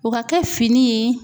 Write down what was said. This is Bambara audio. O ka kɛ fini ye